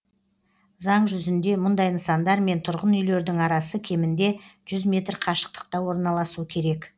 заң жүзінде мұндай нысандар мен тұрғын үйлердің арасы кемінде жүз метр қашықтықта орналасу керек